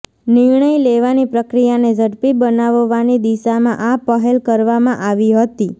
નિર્ણય લેવાની પ્રક્રિયાને ઝડપી બનાવવાની દિશામાં આ પહેલ કરવામાં આવી હતી